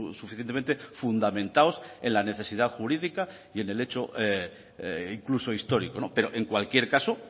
suficientemente fundamentados en la necesidad jurídica y en el hecho incluso histórico pero en cualquier caso